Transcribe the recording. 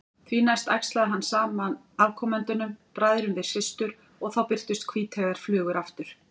Því næst æxlaði hann saman afkomendunum, bræðrum við systur, og þá birtust hvíteygðar flugur aftur.